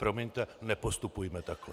Promiňte, nepostupujme takhle.